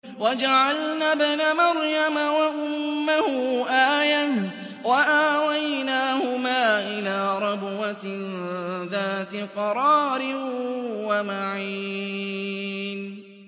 وَجَعَلْنَا ابْنَ مَرْيَمَ وَأُمَّهُ آيَةً وَآوَيْنَاهُمَا إِلَىٰ رَبْوَةٍ ذَاتِ قَرَارٍ وَمَعِينٍ